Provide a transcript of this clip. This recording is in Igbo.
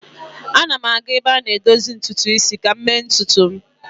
Ana m aga ebe a na-edozi ntutu isi ka m mee ntutu m